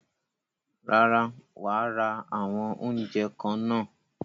Rárá, wàá ra àwọn oúnjẹ kan náà.